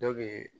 Ne bɛ